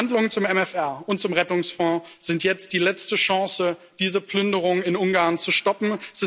Die Verhandlungen zu MFR und zum Rettungsfonds sind jetzt die letzte Chance, diese Plünderung in Ungarn zu stoppen.